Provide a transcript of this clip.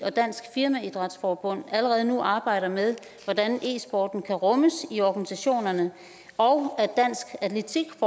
og dansk firmaidrætsforbund allerede nu arbejder med hvordan e sporten kan rummes i organisationerne og at dansk atletik